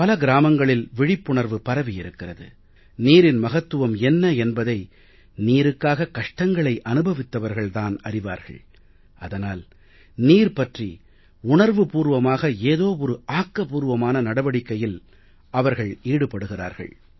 பல கிராமங்களில் விழிப்புணர்வு பரவியிருக்கிறது நீரின் மகத்துவம் என்ன என்பதை நீருக்காக கஷ்டங்களை அனுபவித்தவர்கள் தான் அறிவார்கள் அதனால் நீர் பற்றி உணர்வுபூர்வமாக ஏதோ ஒரு ஆக்கபூர்வமான நடவடிக்கையில் அவர்கள் ஈடுபடுகிறார்கள்